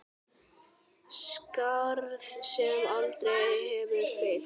Skarð sem aldrei verður fyllt.